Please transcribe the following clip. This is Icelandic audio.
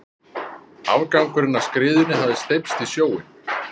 Afgangurinn af skriðunni hafði steypst í sjóinn.